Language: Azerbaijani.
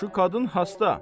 Şu qadın hasta.